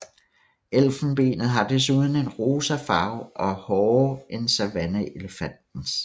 Elfenbenet har desuden en rosa farve og er hårdere end savanneelefantens